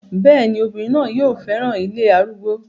bẹ́ẹ̀ni, obìnrin náà yóò fẹ́ràn ilé arúgbó